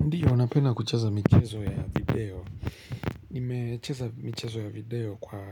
Ndiyo, napenda kucheza michezo ya video. Nimecheza micheo ya video kwa